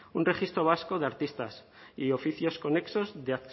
un registro vasco de artistas y oficios conexos de